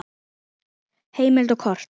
Heimild og kort